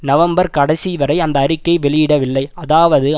November கடைசிவரை அந்த அறிக்கை வெளியிடவில்லை அதாவது